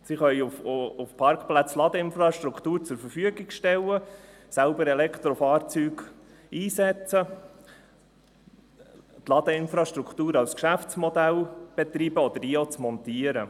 Sie können auf Parkplätzen Ladeinfrastruktur zur Verfügung stellen, selbst Elektrofahrzeuge einsetzen, die Ladeinfrastruktur als Geschäftsmodell betreiben oder diese auch montieren.